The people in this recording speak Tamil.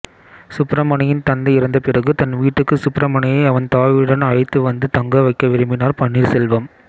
சுப்ரமணியின் தந்தை இறந்தபிறகு தன் வீட்டுக்கு சுப்ரமணியை அவன் தாயுடன் அழைத்து வந்து தங்கவைக்க விரும்பினார் பன்னீர்செல்வம்